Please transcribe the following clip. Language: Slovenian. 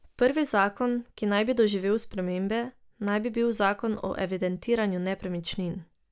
Prvi zakon, ki naj bi doživel spremembe, naj bi bil zakon o evidentiranju nepremičnin.